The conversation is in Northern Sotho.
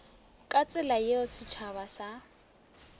ka tsela yeo setšhaba sa